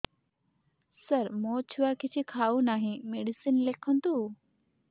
ସାର ମୋ ଛୁଆ କିଛି ଖାଉ ନାହିଁ ମେଡିସିନ ଲେଖନ୍ତୁ